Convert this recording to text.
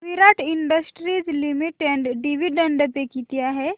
विराट industries limited dividend pay किती आहे